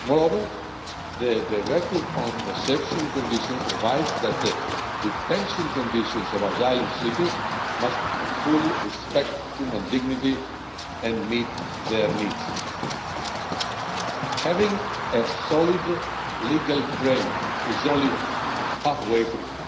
Moreover, the Directive on Reception Conditions provides that the detention conditions of asylum seekers must fully respect human dignity and meet their needs. Having a solid legal framework is only going halfway, though.